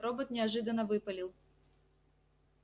робот неожиданно выпалил